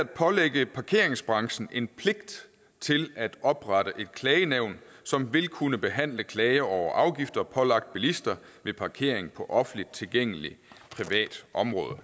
pålægge parkeringsbranchen en pligt til at oprette et klagenævn som vil kunne behandle klager over afgifter pålagt bilister ved parkering på offentligt tilgængeligt privat område